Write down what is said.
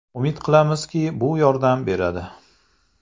Umid qilamizki, bu yordam beradi.